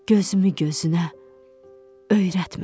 Gözümü gözünə öyrətmə belə.